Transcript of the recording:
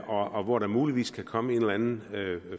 og hvor der muligvis kan komme en eller anden